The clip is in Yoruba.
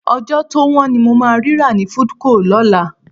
Ọjọ́ tó wọ́n ni mo máa rí rà ní Foodco lọ́la